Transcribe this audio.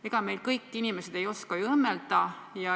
Ega kõik inimesed ei oska ju õmmelda.